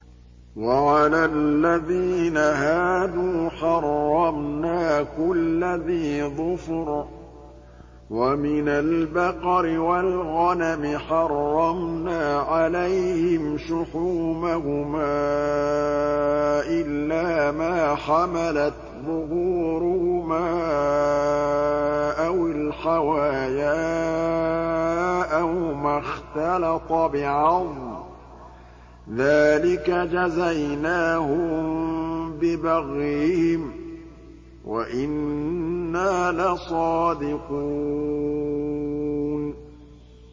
وَعَلَى الَّذِينَ هَادُوا حَرَّمْنَا كُلَّ ذِي ظُفُرٍ ۖ وَمِنَ الْبَقَرِ وَالْغَنَمِ حَرَّمْنَا عَلَيْهِمْ شُحُومَهُمَا إِلَّا مَا حَمَلَتْ ظُهُورُهُمَا أَوِ الْحَوَايَا أَوْ مَا اخْتَلَطَ بِعَظْمٍ ۚ ذَٰلِكَ جَزَيْنَاهُم بِبَغْيِهِمْ ۖ وَإِنَّا لَصَادِقُونَ